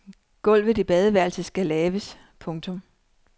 Gulvet i badeværelset skal laves. punktum